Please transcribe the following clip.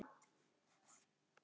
Einkum hana.